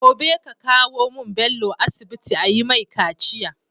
Gobe ka kawo mun Bello asibi ayi mai kaciya